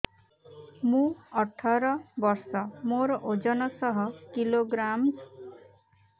ମୁଁ ଅଠର ବର୍ଷ ମୋର ଓଜନ ଶହ କିଲୋଗ୍ରାମସ